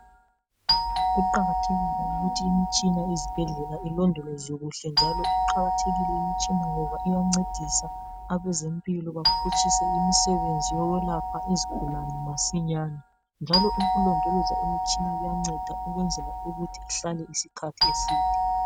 Kuqakathekile ukuthi imitshina yezibhedlela ilondolweze kuhle futhi kuqakathekile imitshina ngoba iyangcedisa abezempilakahle ukwelapha izigulani masinyane njalo ukulondola imitshina kuyangceda ukwenzela ukuthi ihlale isikhathi eside